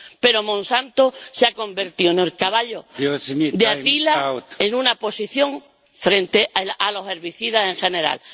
Pero Monsanto se ha convertido en el caballo de Atila en una posición frente a los herbicidas en general.